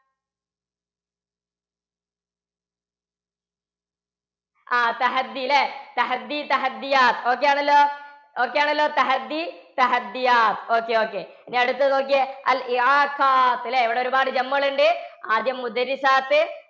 അഹ് ല്ലേ? ok ആണല്ലോ? ok ആണല്ലോ? okay okay. ഇനി അടുത്തത് നോക്ക്യേ. ഇവിടെ ഒരുപാട് കളുണ്ട്. ആദ്യം